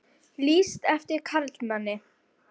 Lýst eftir karlmanni